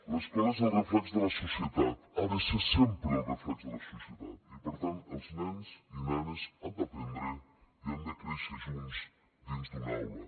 l’escola és el reflex de la societat ha de ser sempre el reflex de la societat i per tant els nens i nenes han d’aprendre i han de créixer junts dins d’una aula